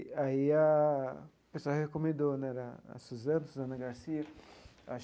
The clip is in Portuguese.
Aí a o pessoal recomendou né era a Susana, a Susana Garcia acho.